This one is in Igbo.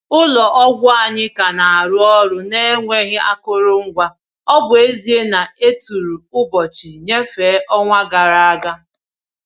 Ụlọ ọgwụ anyị ka na-arụ ọrụ n’enweghị akụrụngwa, ọ bụ ezie na e tụrụ ụbọchị nnyefe ọnwa gara aga.